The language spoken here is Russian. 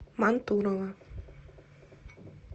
мантурово